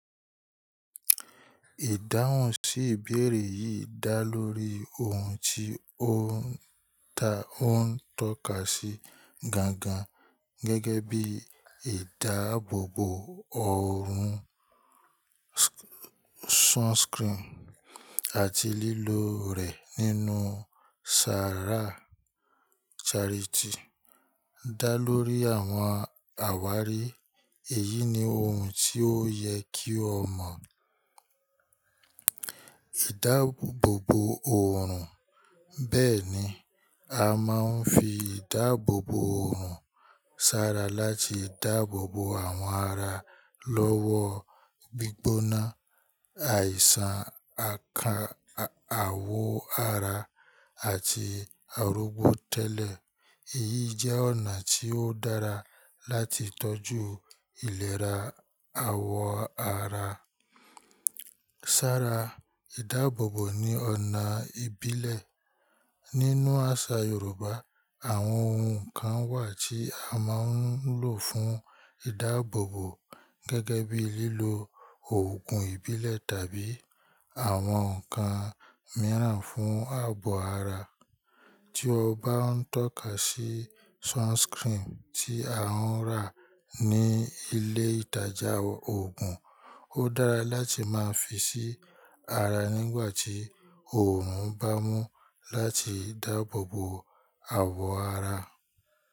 Ìdáhùn sí ìbéèrè yìí dá lórí ohun tí ó ń ta ó ń tọ́ka sí gangan gẹ́gẹ́ bí ìdáàbòbò òòrùn, sunscreen àti lílò rẹ̀ nínú ṣàrà charity. Dá lórí àwọn àwárí, èyí ni ohun tí ó yẹ kí o mọ̀. Ìdáàbòbò òòrùn. Bẹ́ẹ̀ni, a máa ń fi ìdáàbòbò òòrùn ṣàrà láti dáàbòbò àwọn ara lọ́wọ́ gbígbóná, àìsàn aka awọ ara àti arógbó tẹ́lẹ̀. Èyí jẹ́ ọ̀nà tí ó dára láti tọ́jú ìlera awọ ara. Ṣàrà ìdáàbòbò ni ọ̀nà ìbílẹ̀. Nínú àṣà Yorùbá, àwọn ohun kan wà tí a máa ń lò fún ìdáàbòbò gẹ́gẹ́ bí lílọ òògùn ìbílẹ̀ tàbí àwọn nǹkan mìíràn fún ààbọ̀ ara. Tí o bá ń tọ́ka sí sunscreen tí a ń rà ní ilé ìtajà òògùn, ó dára láti máa fi sí ara nígbà tí òòrùn bá mú láti dáàbòbò àwọ̀ ara.